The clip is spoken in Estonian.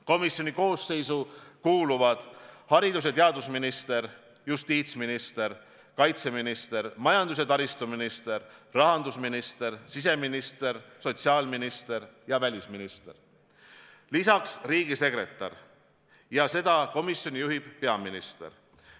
Komisjoni koosseisu kuuluvad haridus- ja teadusminister, justiitsminister, kaitseminister, majandus- ja taristuminister, rahandusminister, siseminister, sotsiaalminister ja välisminister, lisaks riigisekretär, ja seda komisjoni juhib peaminister.